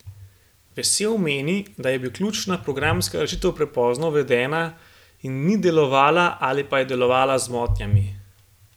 Vesel meni, da je bila ključna programska rešitev prepozno uvedena in ni delovala ali pa je delovala z motnjami.